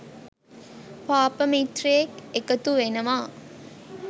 පාප මිත්‍රයෙක් එකතු වෙනවා.